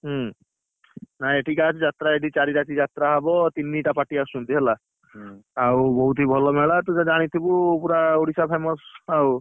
ହଁ, ନାଇଁ ଏଠିକି ଆଶ ଯାତ୍ରା ଏଇଠି ଚାରି ରାତି ହବ ତିନିଟା party ଆସୁଛନ୍ତି ହେଲା, ଆଉ ବହୁତ ହି ଭଲ ମେଳା ତୁ ତ ଜାଣିଥିବୁ ପୁରା ଓଡ଼ିଶା famous ଆଉ।